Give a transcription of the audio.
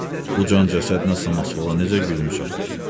Bu can cəsədlə samasvala necə gücün çadır?